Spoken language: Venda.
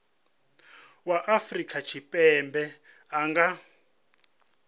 wa afrika tshipembe a nga